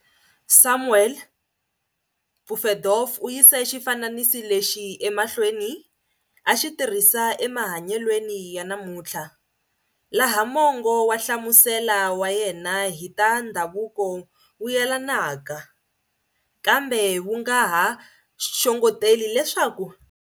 Samuel Pufendorf uyise xifananisi lexi emahlweni a xitirhisa e mahanyelweni ya namunthla, laha mongo wa nhlamusela wa yena hi ta ndzhavuko wuyelanaka, kambe wunga ha xongeteli leswaku.